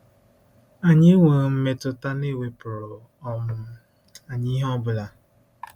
Anyị enweghị mmetụta na e wepụrụ um anyị ihe ọ bụla.